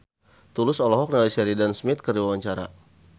Tulus olohok ningali Sheridan Smith keur diwawancara